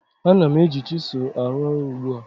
Ana m eji chisel arụ ọrụ ugbu a